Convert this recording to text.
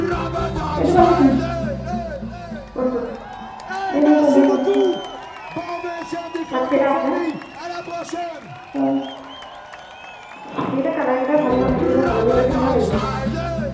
এইটো ভাল লাগিছে মোৰ কোনটো এই তই দিয়া photo খন তাত কেইটা আছে ছয় এই গিটা color গিটা ভাল নালাগিব হালধীয়া টোৱে কেনেকুৱা লাগিব আমাক ভাবচোন